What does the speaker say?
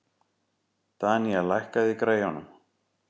Danía, lækkaðu í græjunum.